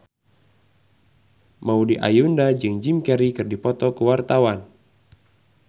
Maudy Ayunda jeung Jim Carey keur dipoto ku wartawan